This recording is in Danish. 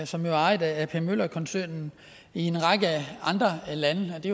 som er ejet af ap møller mærsk koncernen i en række andre lande og det